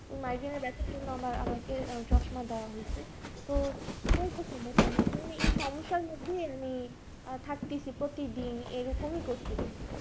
migrain এর ব্যথার জন্য আমার আমাকে চশমা দেওয়া হয়েছে তো এই সমস্যার মধ্যে আমি থাক তেছি প্রতিদিন এরকমই করতেছি